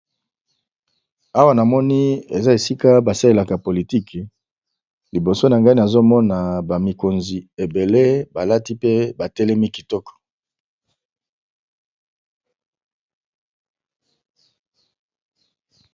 Awa namoni eza esika basalelaka politic liboso nanga nazomona ba mikonzi ebele balati pe batelemi kitoko